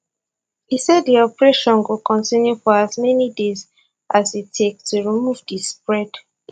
e say di operation go continue for as many days as e take to remove di spread